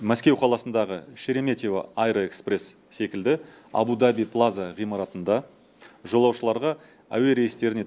мәскеу қаласындағы шереметьево аэроэкспресс секілді абу даби плаза ғимаратында жолаушыларға әуе рейстеріне